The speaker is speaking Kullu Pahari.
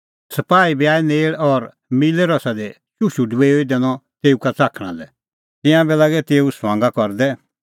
सपाही बी आऐ नेल़ और मिल्लै रसा दी चुशू डबेऊई दैनअ तेऊ का च़ाखणा लै तिंयां बी लागै तेऊए ठठै करदै